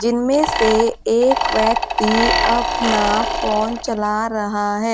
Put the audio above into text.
जिनमें से एक व्यक्ति अपना फोन चला रहा है।